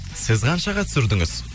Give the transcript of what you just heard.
сіз қаншаға түсірдіңіз